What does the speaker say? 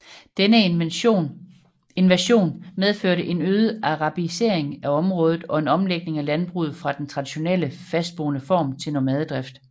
Denne invasion medførte en øget arabisering af området og en omlægning af landbruget fra den traditionelle fastboende form til nomadedrift